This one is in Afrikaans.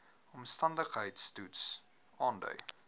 omstandigheids toets aandui